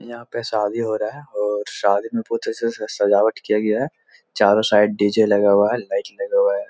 यहाँ पे शादी हो रहा है और शादी में बहोत अच्छे से सज़ावट किया गया हैं चारों साइड डी.जे. लगा हुआ है लाइट लगा हुआ है।